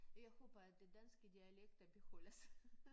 Jeg håber at de danske dialekter beholder sig